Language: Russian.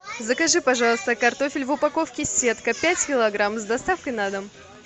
закажи пожалуйста картофель в упаковке сетка пять килограмм с доставкой на дом